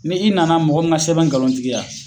Ni i na na mɔgɔ min ka sɛbɛn ngalon tigiya